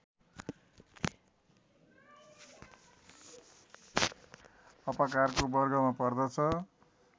अपकारको वर्गमा पर्दछ